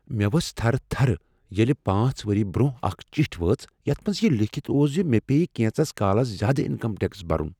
مےٚ ؤژھ تھر تھر ییٚلہ پانٛژھ ؤری برٛۄنٛہہ اکھ چٹھۍ وٲژ یتھ منز یہ لیٖکھتھ اوس ز مےٚ پیٚیہ کینژس کالس زیادٕ انکم ٹیکس برن۔